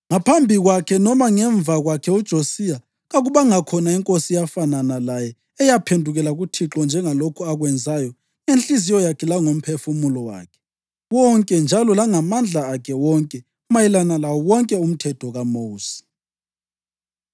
Ngaphambi kwakhe noma ngemva kwakhe uJosiya kakubanga khona inkosi eyafanana laye eyaphendukela kuThixo njengalokhu akwenzayo ngenhliziyo yakhe langomphefumulo wakhe wonke njalo langamandla akhe wonke mayelana lawo wonke uMthetho kaMosi.